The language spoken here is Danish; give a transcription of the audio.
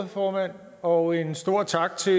formand og en stor tak til